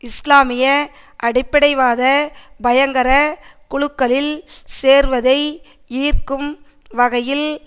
இஸ்லாமிய அடிப்படைவாத பயங்கர குழுக்களில் சேர்வதை ஈர்க்கும் வகையில்